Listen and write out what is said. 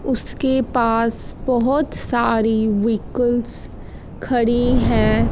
उसके पास बहोत सारी वव्हीकल्स खड़ी हैं।